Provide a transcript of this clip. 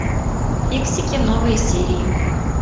фиксики новые серии